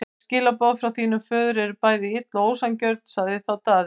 Öll skilaboð frá þínum föður eru bæði ill og ósanngjörn, sagði þá Daði.